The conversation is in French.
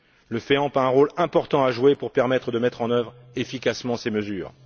Le FEAMP a un rôle important à jouer pour permettre de mettre en œuvre efficacement ces mesures.